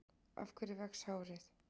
Af hverju vex hárið?